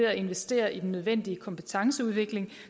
at investere i den nødvendige kompetenceudvikling